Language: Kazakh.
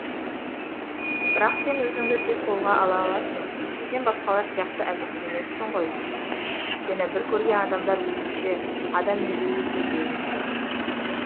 бірақ сен өзіңді тез қолға ала аласың сен басқалар сияқты әлсіз емессің ғой сені бір көрген адамдар өзінше адам менсінбейді деуі мүмкін